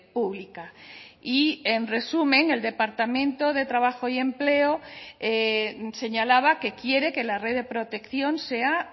pública y en resumen el departamento de trabajo y empleo señalaba que quiere que la red de protección sea